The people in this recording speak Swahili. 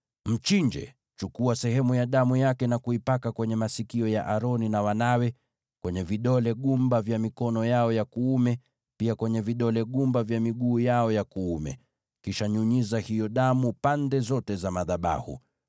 Mchinje, uchukue sehemu ya damu yake na kuipaka kwenye masikio ya Aroni na wanawe, kwenye vidole gumba vya mikono yao ya kuume, pia kwenye vidole gumba vya miguu yao ya kuume. Kisha nyunyiza hiyo damu pande zote za madhabahu.